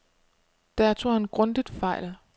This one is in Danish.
Der tog han grundigt fejl.